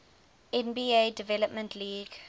nba development league